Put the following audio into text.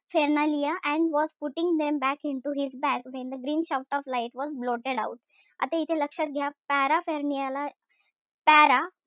Phernalia and was putting them back into his bag when the green shaft of light was blotted out आता इथे लक्षात घ्या paraphernalia ला para,